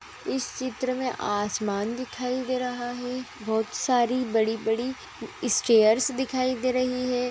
इस चित्र में आसमान दिखाई दे रहा है बहुत सारी बड़ी-बड़ी इस्टेयर्स दिखाई दे रही हैं।